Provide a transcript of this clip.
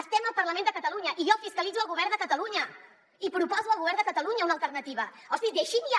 estem al parlament de catalunya i jo fiscalitzo el govern de catalu·nya i proposo al govern de catalunya una alternativa hosti deixin ja